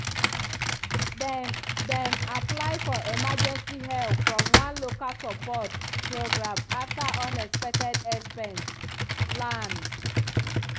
dem dem apply for emergency help from one local support program after unexpected expense land.